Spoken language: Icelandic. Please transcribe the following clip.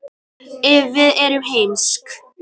ef við erum heimsk